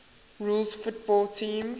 rules football teams